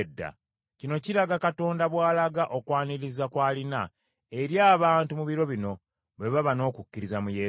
Kino kiraga Katonda bw’alaga okwaniriza kw’alina eri abantu mu biro bino, bwe baba n’okukkiriza mu Yesu.